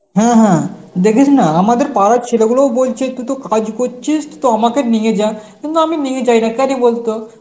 হ্যাঁ হ্যাঁ দেখিস না আমাদের পাড়ার ছেলেগুলোউ বলছে তু তো কাজ করছিস তো আমাকে নিয়ে যা, কিন্তু আমি নিয়ে যাই না কেন বলতো